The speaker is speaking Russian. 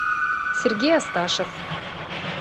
сергей асташев